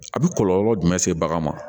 A bɛ kɔlɔlɔ jumɛn se bagan ma